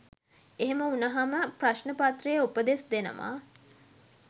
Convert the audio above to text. එහෙම වුණහම ප්‍රශ්න පත්‍රයේ උපදෙස් දෙනවා